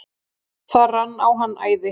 Það rann á hann æði.